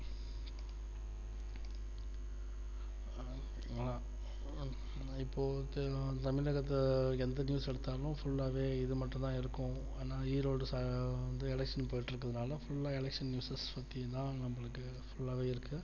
இப்போ தமிழகத்துல எந்த news எடுத்தாலும் full ஆ வே இது மட்டும் தான் இருக்கும் ஈரோடில் வந்து election போயிட்டு இருக்கு என்றதுனா full ஆ election news பத்தி தான் full வே இருக்கு